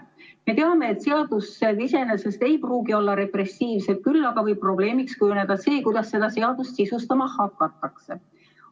Me teame, et seadused iseenesest ei pruugi olla repressiivsed, küll aga võib probleemiks kujuneda see, kuidas seda seadust sisustama hakatakse.